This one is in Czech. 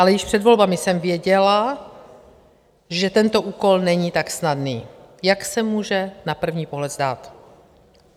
Ale již před volbami jsem věděla, že tento úkol není tak snadný, jak se může na první pohled zdát.